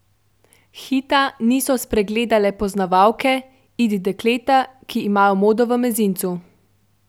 Hita niso spregledale poznavalke, it dekleta, ki imajo modo v mezincu.